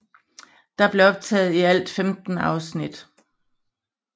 Der blev optaget i alt 15 afsnit